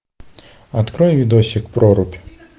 открой видосик прорубь